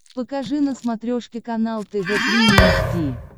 покажи на смотрешке канал тв три эйч ди